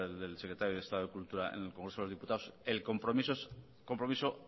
día del secretario del estado de cultura en el congreso de los diputados el compromiso es un compromiso